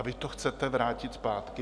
A vy to chcete vrátit zpátky?